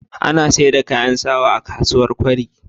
Ana saida kayan sawa a kasuwar kwari